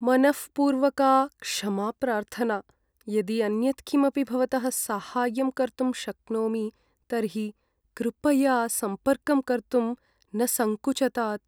मनःपूर्वका क्षमाप्रार्थना! यदि अन्यत् किमपि भवतः साहाय्यं कर्तुं शक्नोमि तर्हि कृपया सम्पर्कं कर्तुं न सङ्कुचतात्।